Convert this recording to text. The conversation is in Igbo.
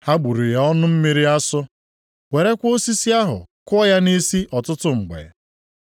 Ha gbụrụ ya ọnụ mmiri asọ, werekwa osisi ahụ kụọ ya nʼisi ọtụtụ mgbe.